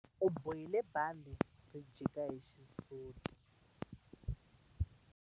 U bohile bandhi ri jika hi xisuti.